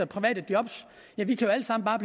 private jobs